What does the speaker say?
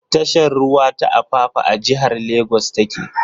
Tashar ruwa ta Apapa a jihar Lagos ta ke.